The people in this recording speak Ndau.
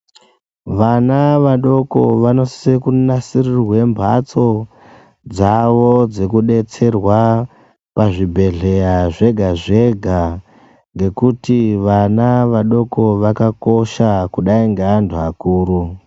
Vana vadoko vanositse kunasirirwa mbatso dzavo dzekudetserwa pazvibhedhleya zvega zvega ngekuti vana vadoko vakakosha kudai ngevantu vakuru.